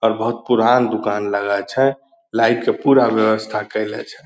अ बहुत पुरान दुकान लगै छै लाईट के पूरा व्यवस्था कैलै छै।